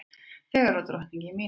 Fegurðardrottning í mínútu